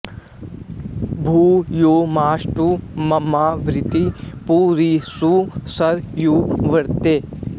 भू यो मास्तु ममावृत्ति पु री षु सरयूवृते